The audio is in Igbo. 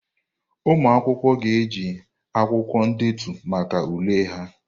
Ụmụ akwụkwọ ga-eji akwụkwọ ndetu maka ule ha.